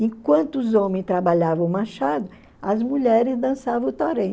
Enquanto os homens trabalhavam o machado, as mulheres dançavam o torém.